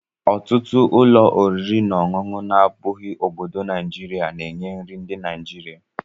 Ọtụtụ ụlọ oriri na ọṅụṅụ na-abụghị obodo naijiria na-enye nri ndị Naijiria